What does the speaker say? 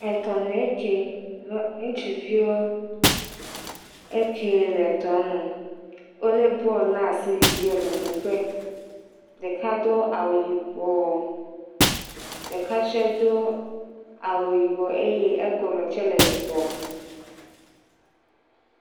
Etɔ nu ye ke, ŋutsuviwoe nye eke le tɔa nu, wole bɔlu ɖe asi yina ƒoƒo ƒe, ɖeka do awu yibɔ eye egɔme tse le yibɔ.